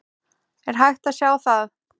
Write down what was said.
Er hægt að sjá það?